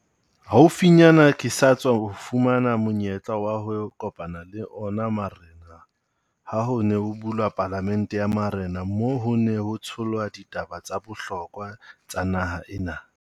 Haufinyana ke sa tswa fumana monyetla wa ho kopana le ona marena ha ho ne ho bulwa palamente ya marena. Moo ho neng ho tshohlwa ditaba tsa bohlokwa tsa naha ena.